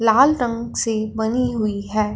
लाल रंग से बनी हुई है।